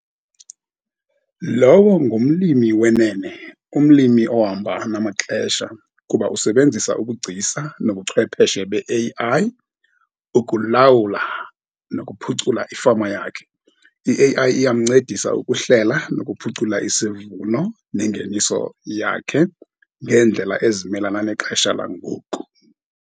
Lowo ngumlimi wenene, umlimi ohamba namaxesha, kuba usebenzisa ubugcisa nobuchwepheshe be-A_I ukulawula nokuphucula ifama yakhe. I-A_I iyamncedisa ukuhlela nokuphucula isivuno nengeniso yakhe ngendlela ezimelana nexhesha langoku.